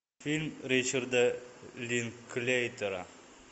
фильм ричарда линклейтера